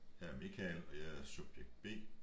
Jeg er Michael og jeg er subjekt B